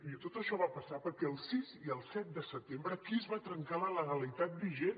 miri tot això va passar perquè el sis i el set de setembre aquí es va trencar la legalitat vigent